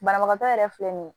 Banabagatɔ yɛrɛ filɛ nin ye